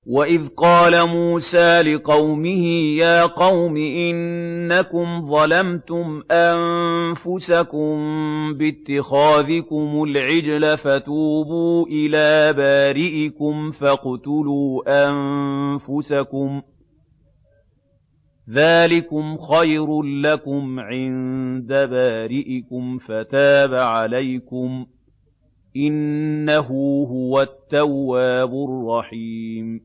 وَإِذْ قَالَ مُوسَىٰ لِقَوْمِهِ يَا قَوْمِ إِنَّكُمْ ظَلَمْتُمْ أَنفُسَكُم بِاتِّخَاذِكُمُ الْعِجْلَ فَتُوبُوا إِلَىٰ بَارِئِكُمْ فَاقْتُلُوا أَنفُسَكُمْ ذَٰلِكُمْ خَيْرٌ لَّكُمْ عِندَ بَارِئِكُمْ فَتَابَ عَلَيْكُمْ ۚ إِنَّهُ هُوَ التَّوَّابُ الرَّحِيمُ